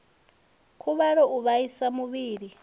khuvhalo u vhaisa muvhili u